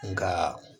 Nka